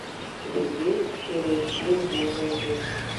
у тебя есть серия семь золотое время